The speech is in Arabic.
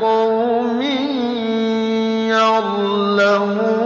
لِقَوْمٍ يَعْلَمُونَ